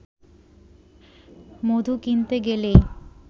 মধু কিনতে গেলেই